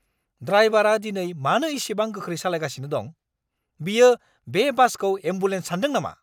ड्राइबारा दिनै मानो इसिबां गोख्रै सालायगासिनो दं? बियो बे बासखौ एम्बुलेन्स सानदों नामा!